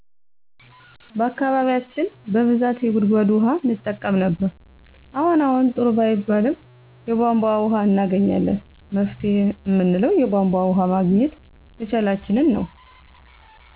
በአካባቢያችን በብዛት የጉድጎድ ውሀ እንጠቀም ነበር አሁን አሁን ጥሩ ባይባልም የቦንቦ ወሀ እናገኛለን መፍትሄ እምንለው የቦንቦ ወሀ ማግኘት መቻላችንን ነው